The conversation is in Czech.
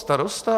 Starosta?